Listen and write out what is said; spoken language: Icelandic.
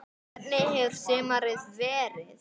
Hvernig hefur sumarið verið?